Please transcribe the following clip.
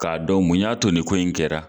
K'a dɔn mun y'a to ni ko in kɛra.